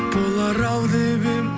болар ау деп едім